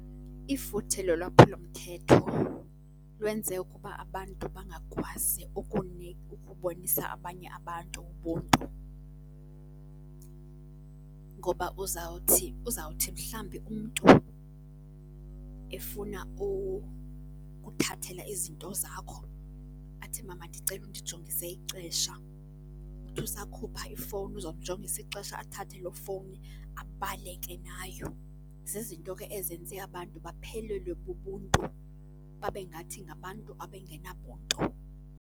Ifuthe lolwaphulo mthetho lwenze ukuba abantu bangakwazi ukubonisa abanye abantu ubuntu, ngoba uzawuthi, uzawuthi mhlambi umntu efuna ukuthathela izinto zakho athi, mama ndicela undijongise ixesha, uthi usakhupha ifowuni uzomjongisa ixesha athathe loo fowuni abaleke nayo. Zizinto ke ezenze abantu baphelelwe bubuntu, babe ngathi ngabantu abengenabuntu.